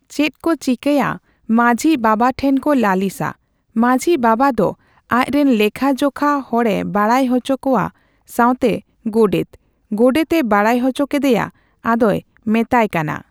ᱪᱮᱫ ᱠᱚ ᱪᱤᱠᱟᱹᱭᱟ ᱢᱟᱺᱡᱷᱤ ᱵᱟᱵᱟ ᱴᱷᱮᱱ ᱠᱚ ᱞᱟᱹᱞᱤᱥᱟ ᱾ᱢᱟᱺᱡᱷᱤ ᱵᱟᱵᱟ ᱫᱚ ᱟᱡ ᱨᱮᱱ ᱞᱮᱠᱷᱟ ᱡᱚᱠᱷᱟ ᱦᱚᱲᱮ ᱵᱟᱲᱟᱭ ᱦᱚᱪᱚ ᱠᱚᱣᱟ ᱥᱣᱛᱮ ᱜᱚᱰᱮᱛ ᱾ ᱜᱚᱰᱮᱛ ᱮ ᱵᱟᱲᱟᱭ ᱦᱚᱪᱚ ᱠᱮᱫᱮᱭᱟ ᱟᱫᱚᱭ ᱢᱮᱛᱟᱭ ᱠᱟᱱᱟ ᱾